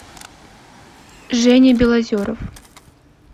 женя белозеров